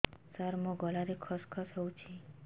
ସାର ମୋ ଗଳାରେ ଖସ ଖସ ହଉଚି